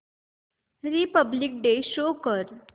Republic Day show कर